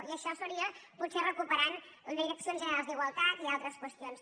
i això seria potser recuperant direccions generals d’igualtat i altres qüestions